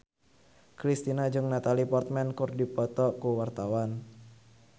Kristina jeung Natalie Portman keur dipoto ku wartawan